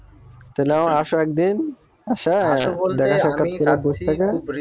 তালে মামা আসো একদিন